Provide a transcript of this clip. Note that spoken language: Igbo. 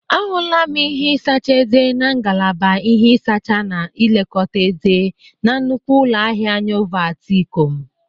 A hụlam ihe ịsacha eze na ngalaba ihe ịsacha na ilekọta eze na nnukwu ụlọ ahịa Nyovat, Ikọm.